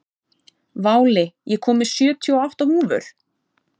Váli, ég kom með sjötíu og átta húfur!